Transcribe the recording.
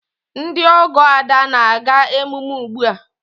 Ndị ọgọ Ada na-aga emume ugbu a.